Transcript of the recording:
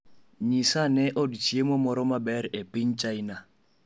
Nyisa ane od chiemo moro maber e piny China